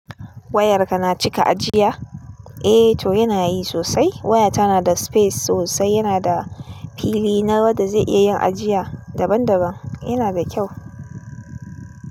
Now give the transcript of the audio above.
Wayarka na cika ajiya? Eh to yana yi sosai. Wayata tana da space sosai, yana da fili na wadda zai iya yin ajiya daban daban. Yana da kyau.